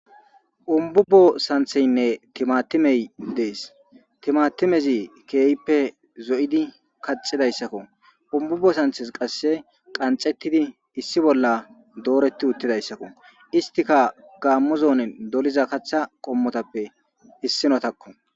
Gumbbubo sanththinne thimaathimee des; thimaathimezi keehippe zo7idi kaxxizayssikoo; gumbubbo santhes qassi qanxxeththidi issi bolla dooreththi uththizaysakoo; isthika gaammo zoonen doliza kaththaa qommothappe issinothakoo.